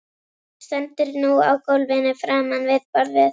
Stendur nú á gólfinu framan við borðið.